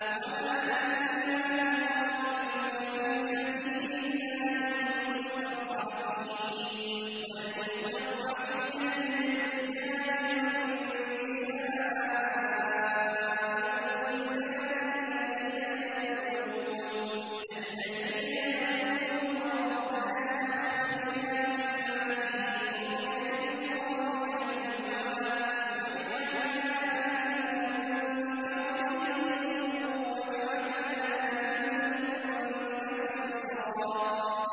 وَمَا لَكُمْ لَا تُقَاتِلُونَ فِي سَبِيلِ اللَّهِ وَالْمُسْتَضْعَفِينَ مِنَ الرِّجَالِ وَالنِّسَاءِ وَالْوِلْدَانِ الَّذِينَ يَقُولُونَ رَبَّنَا أَخْرِجْنَا مِنْ هَٰذِهِ الْقَرْيَةِ الظَّالِمِ أَهْلُهَا وَاجْعَل لَّنَا مِن لَّدُنكَ وَلِيًّا وَاجْعَل لَّنَا مِن لَّدُنكَ نَصِيرًا